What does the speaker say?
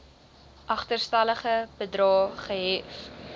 agterstallige bedrae gehef